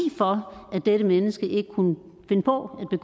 for at dette menneske ikke kunne finde på at